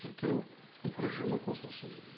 тіркеу режимі қосылсын